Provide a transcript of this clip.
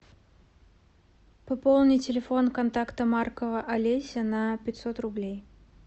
пополнить телефон контакта маркова олеся на пятьсот рублей